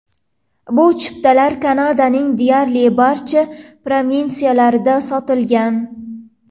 Bu chiptalar Kanadaning deyarli barcha provinsiyalarida sotilgan.